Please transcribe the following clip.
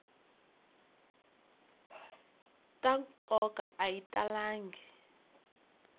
ta nkoka a yi talangi